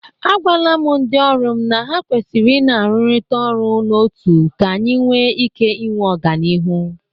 Agwala m ndị ọrụ m na ha kwesiri ị na-arụrịkọta ọrụ n'otu ka anyị nwe ike nwe ọganịrụ.